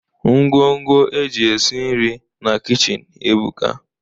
Ngwo ngwo eji esi nri na kichin ebuka.